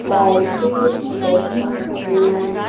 लाइटें लगी हुई --